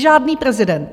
Žádný prezident.